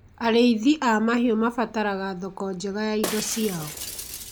Arĩithi a mahiũ mabataraga thoko njega ya indo ciao